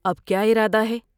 اب کیا ارادہ ہے ؟